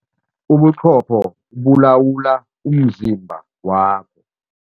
Ubuqopho bulawula umzimba wakho.